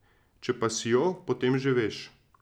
Če pa si jo, potem že veš.